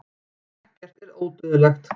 ekkert er ódauðlegt